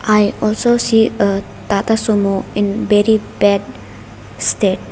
i also see a tata sumo in bery bad state.